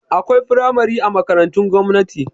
Akwai firamare a makarantun gwamnati